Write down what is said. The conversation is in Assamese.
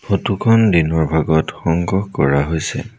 ফটো খন দিনৰ ভাগত সংগ্ৰহ কৰা হৈছে।